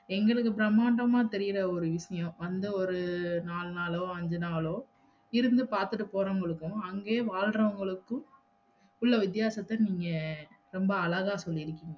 எங்களுக்கு பிரம்மாண்டமா தெரியற ஒருவிஷயம் அந்த ஒரு நாலு நாளோ, அஞ்சு நாளோ இருந்து பாத்துட்டு போரவுங்களுக்கும் அங்கேயே வாழ்றவுங்களுகும் உள்ள வித்தியாசத்த நீங்க ரொம்ப அழகா சொல்லிருகிங்க